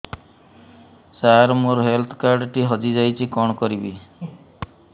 ସାର ମୋର health card ଟି ହଜି ଯାଇଛି କଣ କରିବି